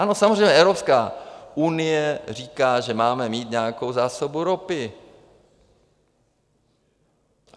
Ano, samozřejmě, Evropská unie říká, že máme mít nějakou zásobu ropy.